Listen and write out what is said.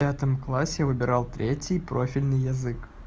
в пятом классе выбирал третий профильный язык